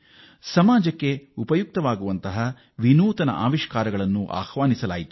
ಸಾಮಾಜಿಕವಾಗಿ ಉಪಯುಕ್ತವಾಗಬಲ್ಲ ನಾವಿನ್ಯತೆಯನ್ನು ಅದು ಆಹ್ವಾನಿಸಿತ್ತು